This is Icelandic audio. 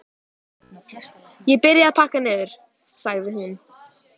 Ég byrja að pakka niður, sagði hún.